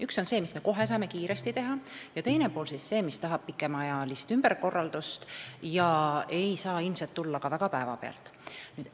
Üks on see, mis me saame kohe kiiresti ära teha, ja teine pool on see, mis tähendab pikemaajalist ümberkorraldust ja ei saa ilmselt väga päevapealt tulla.